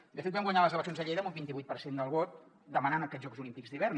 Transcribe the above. i de fet vam guanyar les eleccions a lleida amb un vint vuit per cent del vot demanant aquests jocs olímpics d’hivern